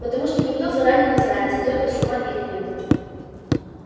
потому что никто заранее не знает сойдёт ли с ума или нет